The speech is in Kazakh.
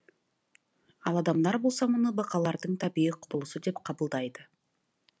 ал адамдар болса мұны бақалардың табиғи құбылысы деп қабылдайды